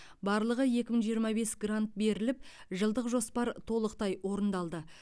барлығы екі мың жиырма бес грант беріліп жылдық жоспар толықтай орындалды